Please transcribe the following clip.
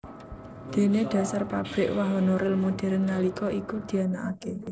Déné dhasar pabrik wahana ril modern nalika iku dianakaké